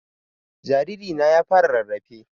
Jariri na ya fara rarrafe